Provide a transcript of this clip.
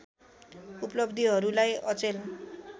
उपलब्धिहरूलाई अचेल